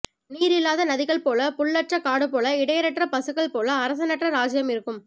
நீரில்லாத நதிகள் போல புல்லற்ற காடுபோல இடையரற்ற பசுக்கள் போல அரசனற்ற ராஜ்யம் இருக்கும்